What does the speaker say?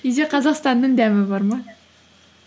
үйде қазақстанның дәмі бар ма